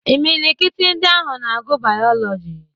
Imilikiti ndị ahụ na-agụ Bayọlọji.